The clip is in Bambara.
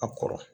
A kɔrɔ